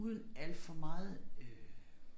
Uden alt for meget øh